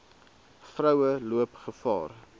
vroue loop gevaar